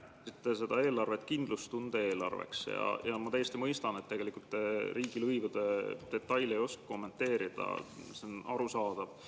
Oma kõnes nimetasite te seda eelarvet kindlustunde eelarveks ja ma tegelikult täiesti mõistan, et te ei oska riigilõivude detaile kommenteerida, see on arusaadav.